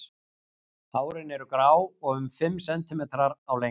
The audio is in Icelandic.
Hárin eru grá og um fimm sentimetrar á lengd.